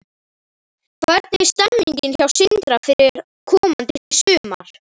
Hvernig er stemmingin hjá Sindra fyrir komandi sumar?